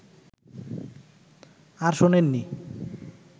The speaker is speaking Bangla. আর শোনেননি